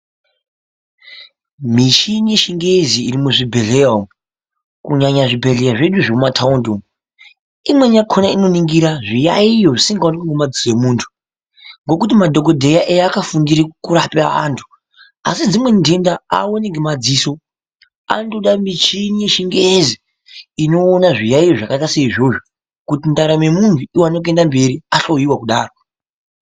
Mishini yechingezi iri muzvibhehlera umwo kunyanya zvibhehleya zvedu zvemumataundi imweni yakona inoningira zviayiyo zvisingaonekwi ngemadziso emuntu ngokuti madhokodheya eakafundire kurapa antu asi dzimweni ndenda aoni ngemadziso mishini yechingezi inoona zviayiyo zvakaita seizvozvo kuti ndaramo yemunhu iwane kuenda mberi ahloiwa kudaro.